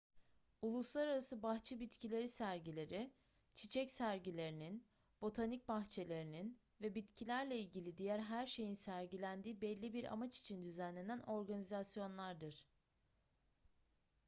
uluslararası bahçe bitkileri sergileri çiçek sergilerinin botanik bahçelerinin ve bitkilerle ilgili diğer her şeyin sergilendiği belli bir amaç için düzenlenen organizasyonlardır